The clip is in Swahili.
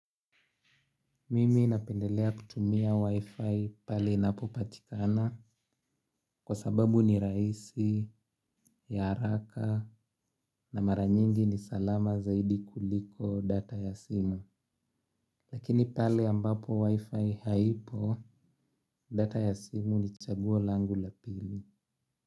Mimi napendelea kutumia wifi pahali inapopatikana kwa sababu ni rahisi, ya haraka na mara nyingi ni salama zaidi kuliko data ya simu. Lakini pale ambapo wifi haipo data ya simu ni chaguo langu la pili.